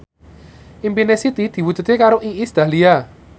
impine Siti diwujudke karo Iis Dahlia